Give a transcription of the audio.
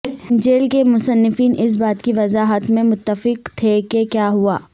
انجیل کے مصنفین اس بات کی وضاحت میں متفق تھے کہ کیا ہوا